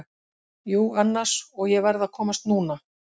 Jú, annars, og ég verð að komast NÚNA!